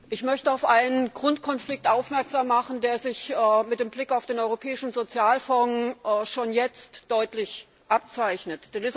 Ich möchte auf einen Grundkonflikt aufmerksam machen, der sich mit Blick auf den Europäischen Sozialfonds schon jetzt deutlich abzeichnet.